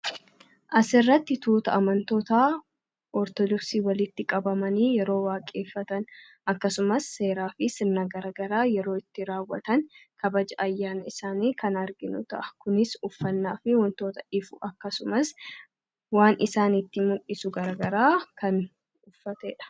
asirratti tuuta amantoota ortodoksii walitti qabamanii yeroo waaqeeffatan; akkasumas seeraa fi sirnagaragaraa yeroo itti raawwatan kabaja ayyaana isaanii kan arginu ta'a. kunis uffannaa fi wantoota ifu akkasumas waan isaaniitti muldhisu garaagaraa kan uffateedha